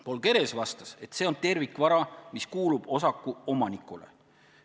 Paul Keres vastas, et see on tervikvara, mis kuulub osaku omanikule.